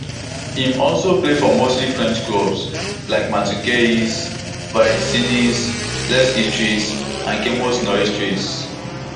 im also play for mostly french clubs like martigues valenciennes lens istres and chamois niortais